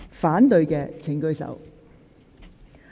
反對的請舉手。